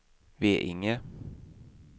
Veinge